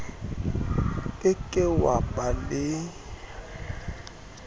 ke ke wa ba le